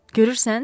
Görürsən?